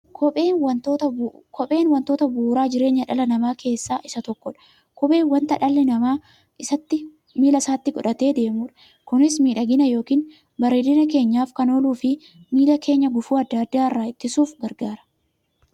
Kopheen wantoota bu'uura jireenya dhala namaa keessaa isa tokkodha. Kopheen wanta dhalli namaa miilla isaatti godhatee deemudha. Kunis miidhagani yookiin bareedina keenyaf kan ooluufi miilla keenya gufuu adda addaa irraa ittisuuf gargaara.